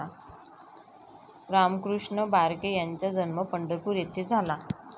रामकृष्ण बारके यांचा जन्म पंढरपूर येथे झाला.